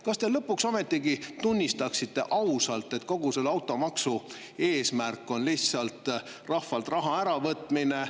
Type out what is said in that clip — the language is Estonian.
Kas te lõpuks ometi tunnistaksite ausalt, et kogu selle automaksu eesmärk on lihtsalt rahvalt raha äravõtmine …